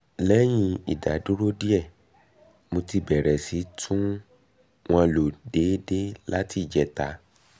lẹ́yìn ìdádúró díẹ̀ mo ti bẹ̀rẹ̀ sí i tún wọn lò déédé láti ìjẹta